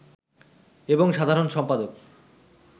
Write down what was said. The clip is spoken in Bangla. এবং সাধারণ সম্পাদক